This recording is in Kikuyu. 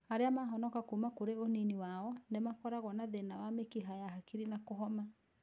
Arĩa mahonoka kuma kũrĩ ũnini wao, nĩmakoragwo na thĩna wa mĩkiha ya hakiri na kũhoma